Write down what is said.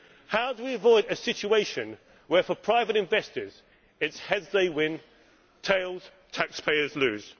How do we avoid a situation where for private investors it is heads they win and tails taxpayers lose?